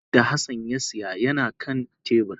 Kulikuli da Hassan ya siya yana kan tebur